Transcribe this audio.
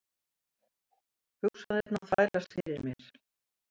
Hugsanirnar þvælast fyrir mér.